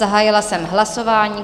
Zahájila jsem hlasování.